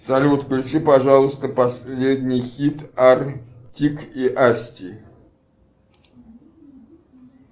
салют включи пожалуйста последний хит артик и асти